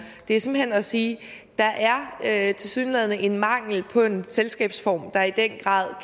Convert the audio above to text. det er simpelt hen at sige at tilsyneladende er en mangel på en selskabsform der i den grad